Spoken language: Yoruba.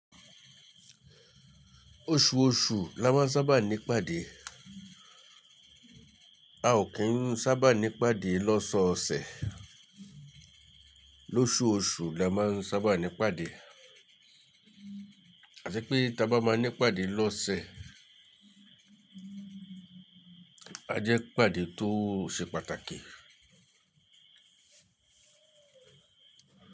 Oṣù oṣù la máa ń sábà ní pàdé. A ò kì í ń sábà ní pàdé lọ́sọ òṣẹ̀. Lóṣù oṣù la máa ń sábà ní pàdé. À ti pé ta bá máa ní pàdé lọ́sẹ̀, a jẹ́ pàdé tó ṣe pàtàkì.